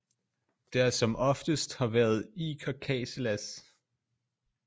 Der som oftest har været iker casillas